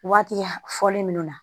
Waati fɔlen minnu na